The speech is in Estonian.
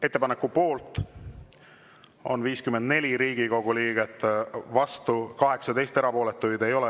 Ettepaneku poolt on 54 Riigikogu liiget, vastu 18, erapooletuid ei ole.